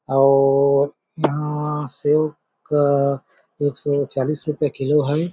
और यहाँ सेव का एक सौ चालीस रुपये किलो है।